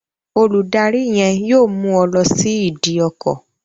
Olùdarí yen yóò mú ọ lọ sí ìdí ọkọ